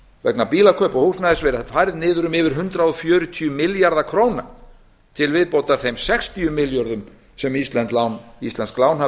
vegna bílakaupa og húsnæðis verið færð niður um yfir hundrað fjörutíu milljarða króna til viðbótar þeim sextíu milljörðum sem íslensk lán hafa